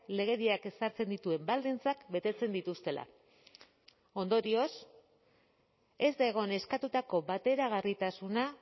legediak ezartzen dituen baldintzak betetzen dituztela ondorioz ez da egon eskatutako bateragarritasuna